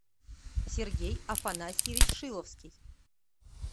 сергей афанасьевич шиловский